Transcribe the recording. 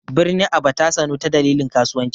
Birnin Aba ta sanu ta dalilin kasuwanci.